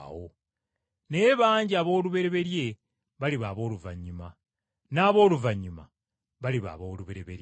Naye bangi aboolubereberye baliba abooluvannyuma, n’ab’oluvannyuma baliba aboolubereberye.”